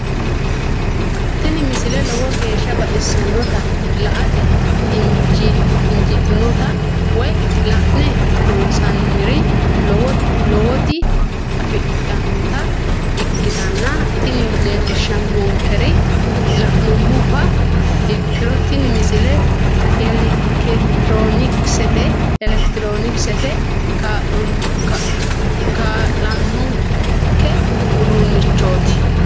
tini misile lowo geeshsha baxissannote la"ate injiitanno woy la'ne ronsannire lowote afidhinota ikkitanna tini leellishshannonkeri la'nummoha ikkiro tini misile elekitiroonikisete kaa'lannonke uduunnichooti.